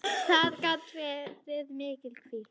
Það gat verið mikil hvíld.